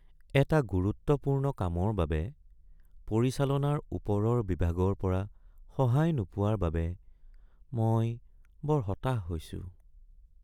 এটা গুৰুত্বপূৰ্ণ কামৰ বাবে পৰিচালনাৰ ওপৰৰ বিভাগৰ পৰা সহায় নোপোৱাৰ বাবে মই বৰ হতাশ হৈছোঁ।